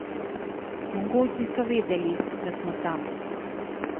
Mongolci so vedeli, da smo tam.